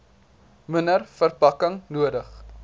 minder verpakking nodig